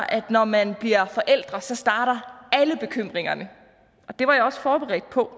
at når man bliver forælder så starter alle bekymringerne og det var jeg også forberedt på